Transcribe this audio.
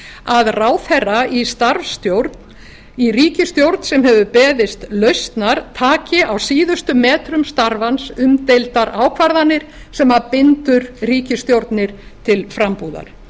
að ráðherra í starfsstjórn í ríkisstjórn sem hefur beðist lausnar taki á síðustu metrum starfans umdeildar ákvarðanir sem bindur ríkisstjórnir til frambúðar